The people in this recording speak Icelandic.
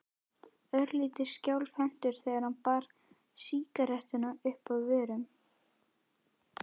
Örlítið skjálfhentur þegar hann bar sígarettuna uppað vörunum.